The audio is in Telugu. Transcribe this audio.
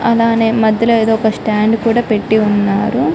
అలానే మధ్యల ఏదో ఒక స్టాండ్ కూడా పెట్టి ఉన్నారు